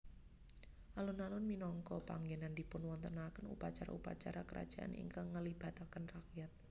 Alun alun minangka panggènan dipunwontenaken upacara upacara kerajaan ingkang nglibataken rakyat